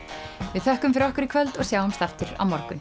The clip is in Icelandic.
við þökkum fyrir okkur í kvöld og sjáumst aftur á morgun